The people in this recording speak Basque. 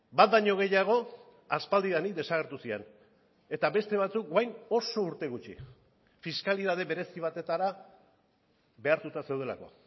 bat baino gehiago aspaldidanik desagertu ziren eta beste batzuk orain oso urte gutxi fiskalitate berezi batetara behartuta zeudelako